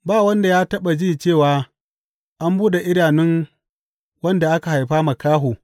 Ba wanda ya taɓa ji cewa an buɗe idanun wanda aka haifa makaho.